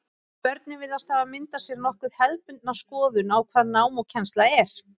Börnin virðast hafa myndað sér nokkuð hefðbundna skoðun á hvað nám og kennsla er.